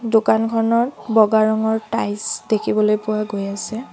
দোকানখনত বগা ৰঙৰ টাইলছ দেখিবলৈ পোৱা গৈ আছে।